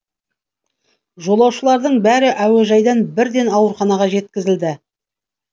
жолаушылардың бәрі әуежайдан бірден ауруханаға жеткізілді